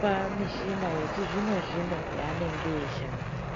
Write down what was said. pa mishina yechi zvino zvino ya anenge eyi shandisa.